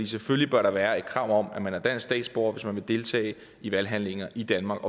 selvfølgelig bør der være et krav om at man er dansk statsborger hvis man vil deltage i valghandlinger i danmark